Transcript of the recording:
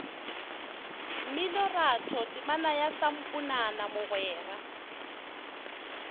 mminoratho temana ya samponana mogwera